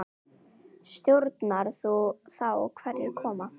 Stjórnar þú þá hverjir koma?